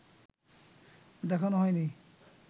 দেখানো হয়নি